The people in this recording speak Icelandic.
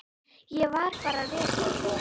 Ég var bara rekinn.